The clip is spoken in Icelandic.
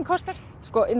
kostar